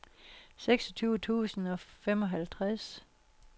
seksogtyve tusind og femoghalvtreds